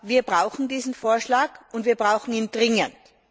Wir brauchen diesen Vorschlag, und wir brauchen ihn dringend!